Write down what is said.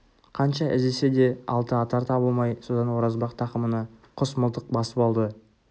қанша іздесе де алтыатар табылмай содан оразбақ тақымына құс мылтық басып алды